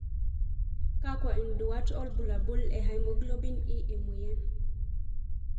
Kakwa nduat wobulabul le hemoglobin E emoyian?